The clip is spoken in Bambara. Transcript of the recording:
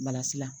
la